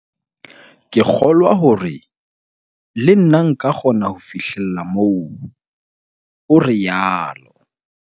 "Ke kgo-lwa hore le nna nka kgona ho fihlella moo," o rialo.